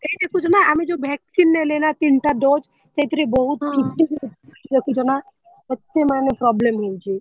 ଏଇ ଦେଖିଚୁନା ଆମେ ଯୋଉ vaccine ନେଲେନା ତିନିଟା dose ସେଇଥିରେ ବହୁତ ଦେଖୁଛନା କେତେ ମାନେ problem ହେଇଛି।